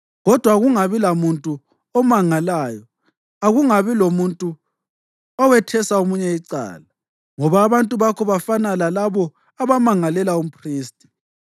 Kodwa akungabi lamuntu omangalayo, akungabi lomuntu owethesa omunye icala ngoba abantu bakho bafana lalabo abamangalela umphristi.